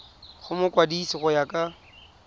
go mokwadise go ya ka